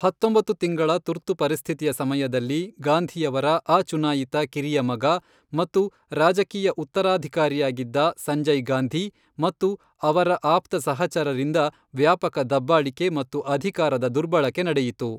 ಹತ್ತೊಂಬತ್ತು ತಿಂಗಳ ತುರ್ತು ಪರಿಸ್ಥಿತಿಯ ಸಮಯದಲ್ಲಿ, ಗಾಂಧಿಯವರ ಅಚುನಾಯಿತ ಕಿರಿಯ ಮಗ ಮತ್ತು ರಾಜಕೀಯ ಉತ್ತರಾಧಿಕಾರಿಯಾಗಿದ್ದ ಸಂಜಯ್ ಗಾಂಧಿ ಮತ್ತು ಅವರ ಆಪ್ತ ಸಹಚರರಿಂದ ವ್ಯಾಪಕ ದಬ್ಬಾಳಿಕೆ ಮತ್ತು ಅಧಿಕಾರದ ದುರ್ಬಳಕೆ ನಡೆಯಿತು.